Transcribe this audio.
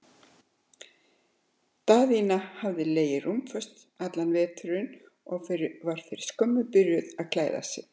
Daðína hafði legið rúmföst allan veturinn og var fyrir skömmu byrjuð að klæða sig.